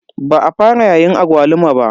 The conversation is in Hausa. Ba a fara yayin agwaluma ba.